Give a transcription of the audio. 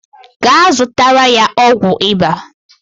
Gaa zụtara ya ọgwụ ịba